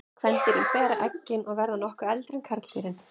Kvendýrin bera eggin og verða nokkuð eldri en karldýrin.